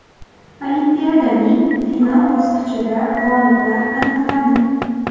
Olimpiadaning final bosqichida g‘oliblar aniqlandi.